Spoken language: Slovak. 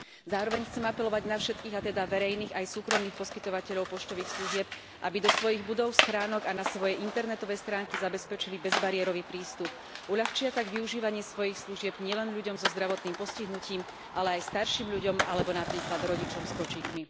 Zároveň chcem apelovať na všetkých, a teda verejných aj súkromných poskytovateľov poštových služieb, aby do svojich budov, schránok a na svoje internetové stránky zabezpečili bezbariérový prístup. Uľahčia tak využívanie svojich služieb nielen ľuďom so zdravotným postihnutím, ale aj starším ľuďom alebo napríklad rodičom s kočíkmi.